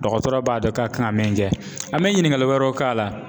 Dɔgɔtɔrɔ b'a dɔn ka kan min kɛ an bɛ ɲiningali wɛrɛw k'a la ,